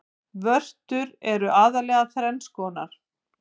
Vörtur eru aðallega þrenns konar.